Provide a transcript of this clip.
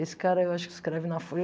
Esse cara, eu acho que escreve na Folha.